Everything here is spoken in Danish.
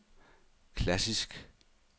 klassisk